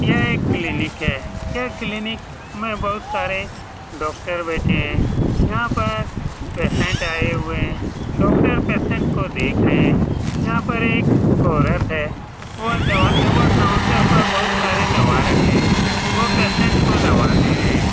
ये एक क्लिनिक है ये क्लीनिक में बहुत सारे डॉक्टर बैठे हुए हैं यहाँ पर पेशेंट आए हुए हैं डॉक्टर पेशेंट को देख रहे हैं यहाँ पर एक औरत है वह दवा वहाँ पर काउंटर पर बहुत सारे दवा रखे है वो पेशेंट को दवा दे रहे हैं।